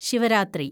Shivaratri